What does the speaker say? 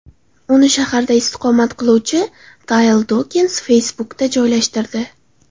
Uni shaharda istiqomat qiluvchi Tile Dokens Facebook’da joylashtirdi .